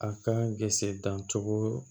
A ka dancogo